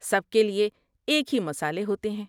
سب کے لیے ایک ہی مصالحے ہوتے ہیں۔